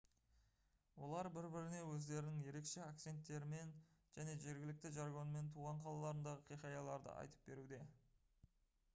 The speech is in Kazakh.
олар бір-біріне өздерінің ерекше акценттерімен және жергілікті жаргонмен туған қалаларындағы хикаяларды айтып беруде